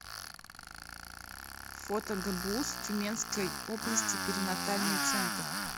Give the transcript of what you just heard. фото гбуз тюменской области перинатальный центр